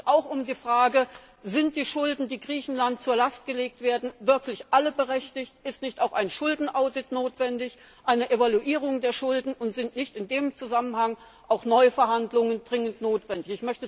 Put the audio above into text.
Hier handelt es sich auch um die Frage Sind die Schulden, die Griechenland zur Last gelegt werden, wirklich alle berechtigt, ist nicht auch ein Schuldenaudit, eine Evaluierung der Schulden notwendig und sind nicht in dem Zusammenhang auch neue Verhandlungen dringend notwendig?